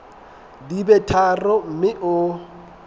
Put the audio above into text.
di be tharo mme o